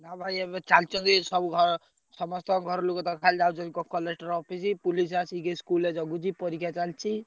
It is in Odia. ନା ଭାଇ ଏବେ ଚାଲିଛନ୍ତି ସବୁ ଘ~ ସମସ୍ତଙ୍କ ଘର ଲୋକ ତ ଖାଲି ଯାଉଛନ୍ତି collector office police ଆସିକି school ରେ ଜଗିଛି ପରୀକ୍ଷା ଚାଲିଛି।